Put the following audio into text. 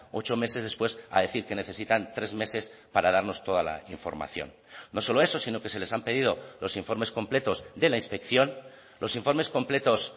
ocho meses después a decir que necesitan tres meses para darnos toda la información no solo eso sino que se les han pedido los informes completos de la inspección los informes completos